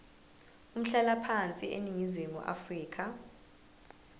umhlalaphansi eningizimu afrika